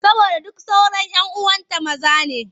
Saboda duk sauran 'yan uwanta maza ne.